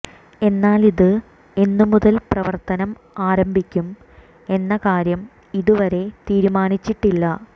എന്നാൽ ഇത് എന്നുമുതൽ പ്രവർത്തനം ആരംഭിക്കും എന്ന കാര്യം ഇതുവരെ തീരുമാനിച്ചിട്ടില്ല